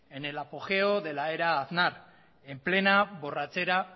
en el apogeo de la era aznar en plena borrachera